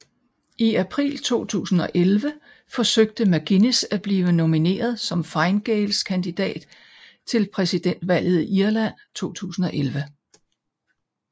I april 2011 forsøgte McGuinness at blive nomineret som Fine Gaels kandidat til præsidentvalget i Irland 2011